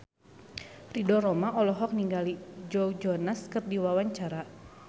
Ridho Roma olohok ningali Joe Jonas keur diwawancara